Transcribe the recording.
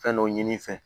Fɛn dɔ ɲini fɛ